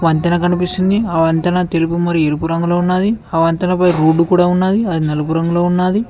వంతెన కనిపిస్తుంది ఆ వంతెన తెలుపు మరియు ఎరుపు రంగులో ఉన్నది ఆ వంతెన పైన రోడ్డు కూడ ఉన్నది అది నలుపు రంగులో ఉన్నాది.